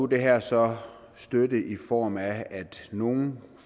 det her så støtte i form af at nogle